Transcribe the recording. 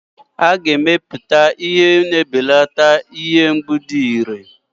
A ga-emepụta ihe na-ebelata ihe mgbu dị iré.